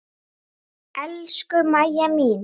Elsku Mæja mín.